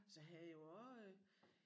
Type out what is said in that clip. Så har jeg jo også øh